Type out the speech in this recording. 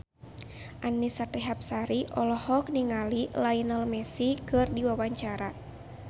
Annisa Trihapsari olohok ningali Lionel Messi keur diwawancara